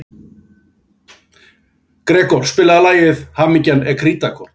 Gregor, spilaðu lagið „Hamingjan er krítarkort“.